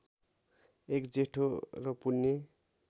एक जेठो र पुण्य